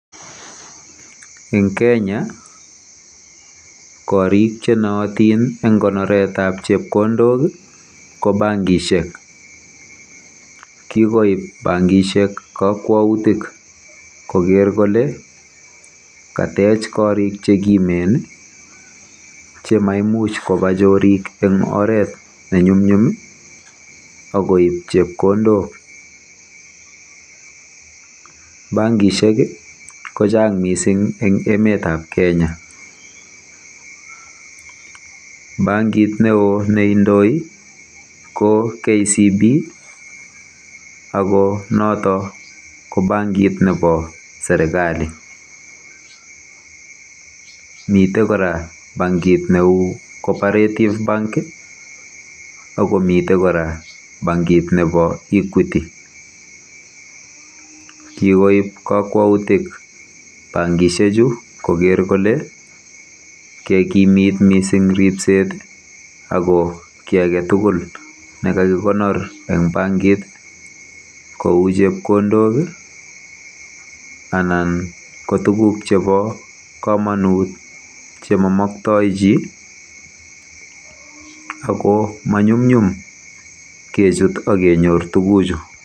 Eng Kenya, korik chenootin eng konoretab chepkondok ko bankishek. Kikoib bankishek kokwoutik koker kole katech korik chekimen chemaimuch koba chorik eng oret ne nyum, mnyum akoip chepkondok.